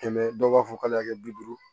Kɛmɛ dɔw b'a fɔ k'ale y'a kɛ bi duuru